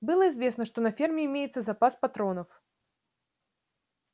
было известно что на ферме имеется запас патронов